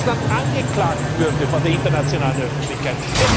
Wie Russland angeklagt würde vor der internationalen Öffentlichkeit!